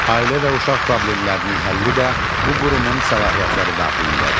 Ailə və Uşaq Problemlərinin həlli də bu qurumun səlahiyyətləri daxilindədir.